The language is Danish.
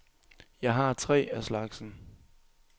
Jeg har tre af slagsen.